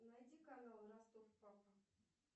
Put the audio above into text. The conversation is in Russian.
найди канал ростов папа